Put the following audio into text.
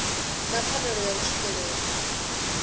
na pfanelo ya u swikelela